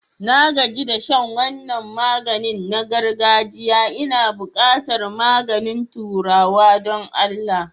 Na gaji da shan wannan maganin na girgajia Ina buƙatar maganin turawa don Allah.